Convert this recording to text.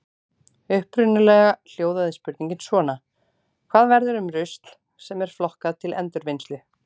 Upprunalega hljóðaði spurningin svona: Hvað verður um rusl sem er flokkað til endurvinnslu?